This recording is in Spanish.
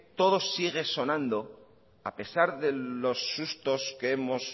todo sigue sonando a pesar de los sustos que hemos